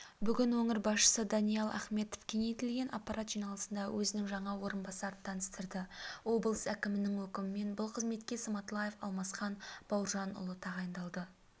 бүгін өңір басшысы даниал ахметов кеңейтілген аппарат жиналысында өзінің жаңа орынбасарын таныстырды облыс әкімінің өкімімен бұл қызметке сматлаев алмасхан бауыржанұлы тағайындалды